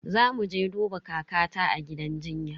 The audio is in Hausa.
Zamu je duba kakata a gidan jinya.